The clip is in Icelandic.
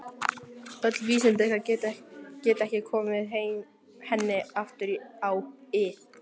Öll vísindi ykkar geta ekki komið henni aftur á ið.